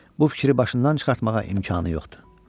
Bu fikri başından çıxartmağa imkanı yoxdur.